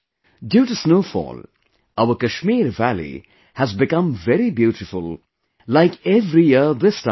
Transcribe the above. Due to snowfall, our Kashmir valley has become very beautiful like every year this time too